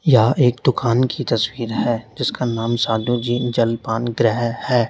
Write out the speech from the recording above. यह एक दुकान की तस्वीर है जिसका नाम साहू जी जलपान ग्रह है।